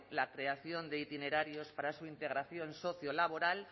la creación de itinerarios para su integración sociolaboral